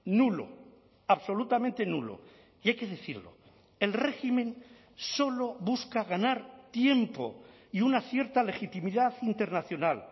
nulo absolutamente nulo y hay que decirlo el régimen solo busca ganar tiempo y una cierta legitimidad internacional